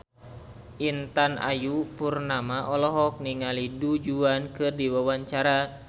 Intan Ayu Purnama olohok ningali Du Juan keur diwawancara